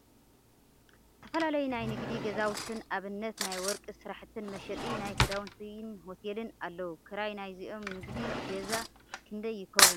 ዝተፈላለዩ ናይ ንግዲ ገዛውቲ ን ኣብነት ናይ ወርቂ ስራሕትን መሸጢ ፣ ናይ ክዳውንቲ ን ሆቴልን ኣለዉ ። ክራይ ናይዞም ንግዲ ገዛ ክንደይ ይከውን ?